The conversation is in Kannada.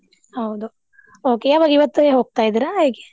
ಹೌದು okay ಯಾವಾಗ ಇವತ್ತೇ ಹೋಗ್ತಾ ಇದಿರಾ ಹೇಗೆ?